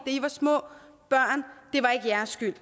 i var små børn var ikke jeres skyld